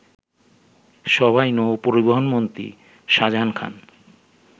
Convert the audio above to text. সভায় নৌ পরিবহনমন্ত্রী শাজাহান খান